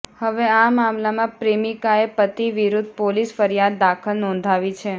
હવે આ મામાલામાં પ્રેમિકાએ પતિ વિરૂદ્ધ પોલીસ ફરિયાદ દાખલ નોંધાવી છે